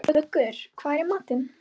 Muggur, hvað er í matinn?